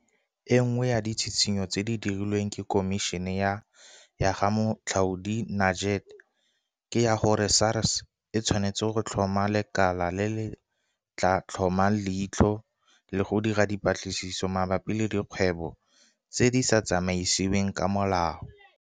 E nngwe ya ditshitshinyo tse di dirilweng ke Khomišene ya ga Moatlhodi Nuget ke ya gore SARS e tshwanetse go tlhoma lekala le le tla tlhomang leitlho le go dira dipatlisiso mabapi le dikgwebo tse di sa tsamaisiweng ka molao.